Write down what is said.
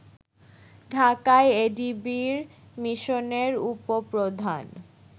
ঢাকায় এডিবির মিশনের উপপ্রধান